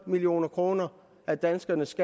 million kroner af danskernes